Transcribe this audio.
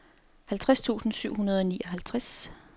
halvtreds tusind syv hundrede og nioghalvtreds